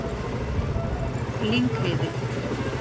Lyngheiði